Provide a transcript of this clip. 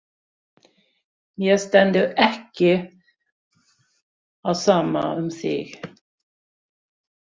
Mér stendur ekki á sama um þig.